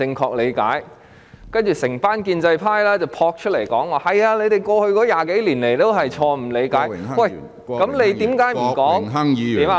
其後，一眾建制派撲出來說："是的，你們過去20多年以來也是錯誤理解"，那他們何不說......